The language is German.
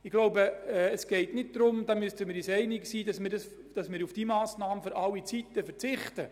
Ich glaube, wir müssen uns einig sein, dass wir auf diese Massnahme nicht für alle Zeiten verzichten.